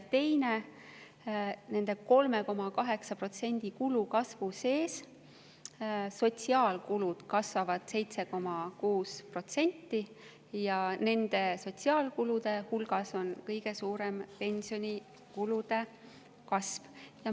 Teine on see, et nende kulude 3,8%‑lise kasvu sees kasvavad sotsiaalkulud 7,6% ja nende sotsiaalkulude hulgas on kõige suurem pensionikulude kasv.